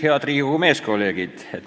Head Riigikogu meeskolleegid!